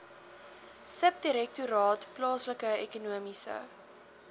subdirektoraat plaaslike ekonomiese